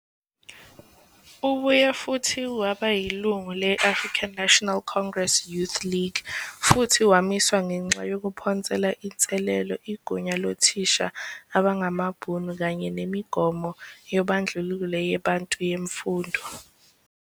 Ubuye futhi waba yilungu le-African National Congress Youth League, futhi wamiswa ngenxa yokuphonsela inselelo igunya lothisha abangamaBhunu kanye nemigomo yoobandlululo ye "Bantu yemfundo".